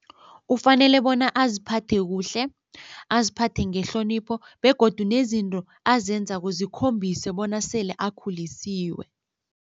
Ufanele bona aziphathe kuhle, aziphathe ngehlonipho begodu nezinto azenzako zikhombise bona sele akhulisiwe.